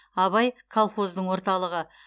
абай колхоздың орталығы